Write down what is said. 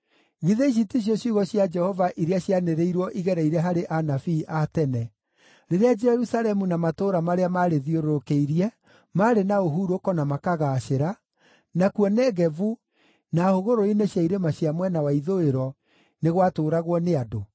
Githĩ ici ticio ciugo cia Jehova iria cianĩrĩirwo igereire harĩ anabii a tene, rĩrĩa Jerusalemu na matũũra marĩa maarĩthiũrũrũkĩirie maarĩ na ũhurũko na makaagaacĩra, nakuo Negevu na hũgũrũrũ-inĩ cia irĩma cia mwena wa ithũĩro nĩ gwatũũragwo nĩ andũ?’ ”